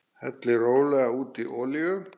Hellið rólega út í olíu.